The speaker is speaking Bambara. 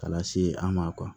K'a lase an ma